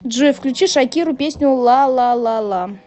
джой включи шакиру песню лалалала